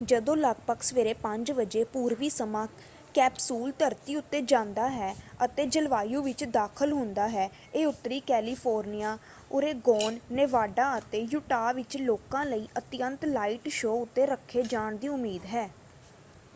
ਜਦੋਂ ਲਗਪਗ ਸਵੇਰੇ 5 ਵਜੇ ਪੂਰਵੀ ਸਮਾਂ ਕੈਪਸੂਲ ਧਰਤੀ ਉੱਤੇ ਜਾਂਦਾ ਹੈ ਅਤੇ ਜਲਵਾਯੂ ਵਿੱਚ ਦਾਖ਼ਲ ਹੁੰਦਾ ਹੈ ਇਹ ਉੱਤਰੀ ਕੈਲੀਫੋਰਨੀਆਂ ਓਰੇਗੋਨ ਨੇਵਾਡਾ ਅਤੇ ਯੁਟਾਹ ਵਿੱਚ ਲੋਕਾਂ ਲਈ ਅਤਿਅੰਤ ਲਾਈਟ ਸ਼ੋਅ ਉੱਤੇ ਰੱਖੇ ਜਾਣ ਦੀ ਉਮੀਦ ਹੈ।